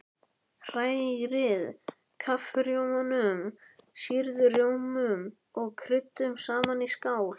Hrærið kaffirjómanum, sýrða rjómanum og kryddinu saman í skál.